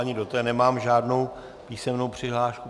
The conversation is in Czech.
Ani do té nemám žádnou písemnou přihlášku.